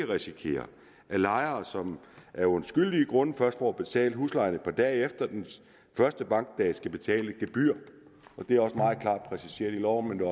risikere at lejere som af undskyldelige grunde først får betalt huslejen et par dage efter den første bankdag skal betale et gebyr det er også meget klart præciseret i loven men